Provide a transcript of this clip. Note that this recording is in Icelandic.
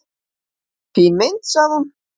"""Fín mynd, sagði hún."""